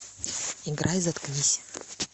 играй заткнись